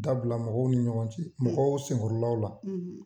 Dabila mɔgɔw ni ɲɔgɔn cɛ mɔgɔw senkɔrɔlaw la